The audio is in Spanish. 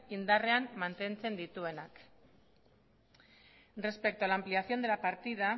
indarrean mantentzen dituenak respecto a la ampliación de la partida